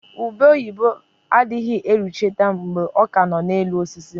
Ube oyibo dịghị erucha mgbe ọ ka nọ na elu osisi